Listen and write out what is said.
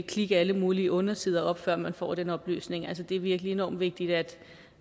klikke alle mulige undersider op før man får den oplysning altså det er virkelig enormt vigtigt at